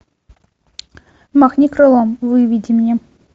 махни крылом выведи мне